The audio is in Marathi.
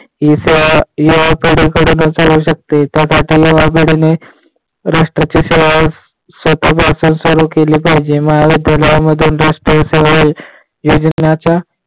राष्ट्राची सेवा स्वतःपासून सुरू केली पाहिजे